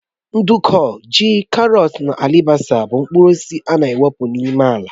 Nduku, ji, karọt na alibasa bụ mkpụrụ osisi na epụ n'ime ala